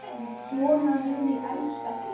Svona mun ég elska þig.